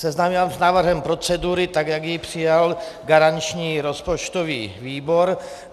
Seznámím vás s návrhem procedury, tak jak ji přijal garanční rozpočtový výbor.